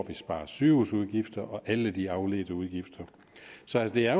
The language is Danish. vi sparer sygehusudgifter og alle de afledte udgifter så det er